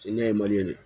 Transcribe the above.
Sini ɲɛ